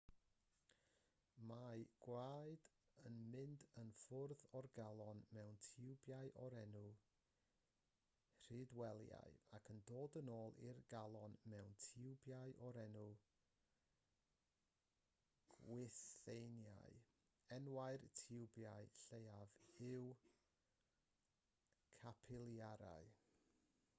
mae gwaed yn mynd i ffwrdd o'r galon mewn tiwbiau o'r enw rhydwelïau ac yn dod yn ôl i'r galon mewn tiwbiau o'r enw gwythiennau enwau'r tiwbiau lleiaf yw capilarïau